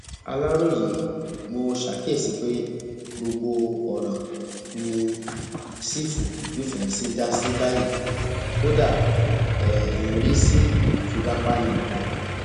aláròye mo ṣàkíyèsí pé gbogbo ọràn ni sífù fífẹǹsì ń dá sí báyìí kódà ẹ ń rí sí ìfipábánilòpọ